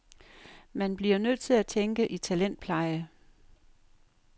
Man bliver nødt til at tænke i talentpleje.